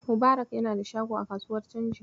Mubarak yana da shago a kasuwar canji.